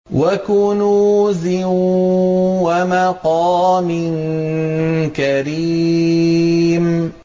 وَكُنُوزٍ وَمَقَامٍ كَرِيمٍ